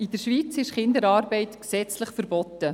In der Schweiz ist Kinderarbeit gesetzlich verboten.